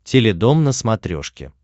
теледом на смотрешке